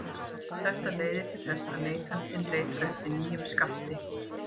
Þetta leiðir til þess að neytandinn leitar eftir nýjum skammti.